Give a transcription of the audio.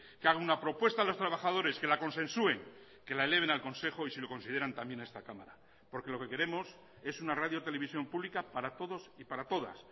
que haga una propuesta a los trabajadores que la consensúen que la eleven al consejo y si lo consideran también a esta cámara porque lo que queremos es una radiotelevisión pública para todos y para todas